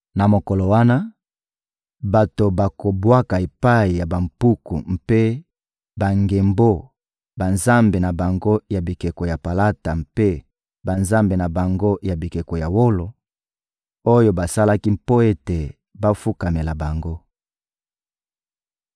Na mokolo wana, bato bakobwaka epai ya bampuku mpe bangembo banzambe na bango ya bikeko ya palata mpe banzambe na bango ya bikeko ya wolo, oyo basalaki mpo ete bafukamela bango.